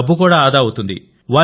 డబ్బు కూడా ఆదా అవుతుంది